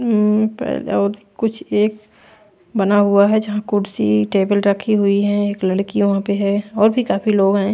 अम्म कुछ एक बना हुआ है जहाँ कुर्सी टेबल रखी हुई हैं एक लड़की वहाँ पे है और भी काफी लोग हैं।